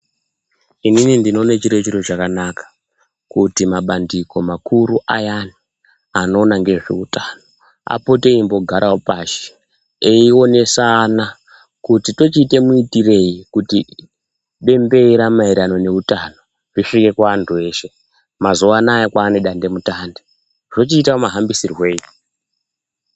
Inini ndinoone chiri chiro chakanaka kuti mabandiko makuru ayani anoona ngezveutano apote eimbogarawo pashi eionesana kuti tochiite muitirei kuti bembera maererano neutano risvike kuantu eshe, mazuwaanaya kwane dandemutande zvochiita mahambisirwei.